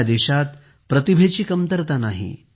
आपल्या देशात प्रतिभेची कमतरता नाही